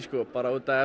bara út af